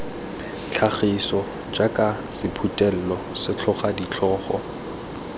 tlhagiso jaaka sephuthelo setlhogo ditlhogo